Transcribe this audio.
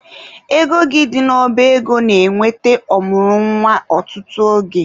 Ego gị dị n'ọba ego na-enweta ọ mụrụ nwa ọtụtụ oge.